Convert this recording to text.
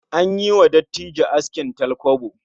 An yi wa dattijo askin talkwabo